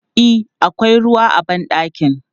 E, akwai ruwa a ban ɗakin.